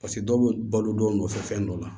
paseke dɔw be balo dɔw nɔfɛ fɛn dɔ la